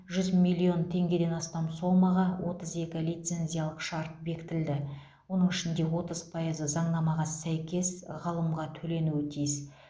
жүз миллион теңгеден астам сомаға отыз екі лицензиялық шарт бекітілді оның ішінде отыз пайызы заңнамаға сәйкес ғалымға төленуі тиіс